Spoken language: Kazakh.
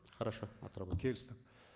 хорошо келістік